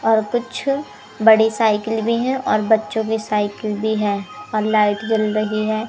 और कुछ बड़ी साइकिल भी हैं और बच्चों की साइकिल भी है और लाइट जल रही है।